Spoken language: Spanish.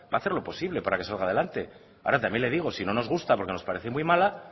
va a hacer lo posible para que salga adelante ahora también le digo si no nos gusta porque nos parece muy mala